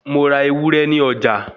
Mo ra ewúré ní ọjà